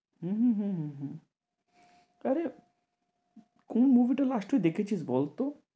হম হম হম হম আরে কোন movie টা first week দেখেছিস বলতো?